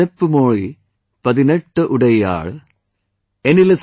इवळ सेप्पु मोळी पधिनेट्टूडैयाळ ivaL seppu mozhi padineTTuDaiyaaL